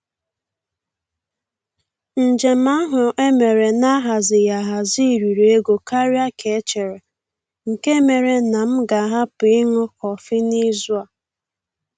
Njem ahụ e mere na-ahazighị ahazi riri ego karịa ka e chere, nke mere na m ga-ahapụ ịṅụ kọfị n'izu a.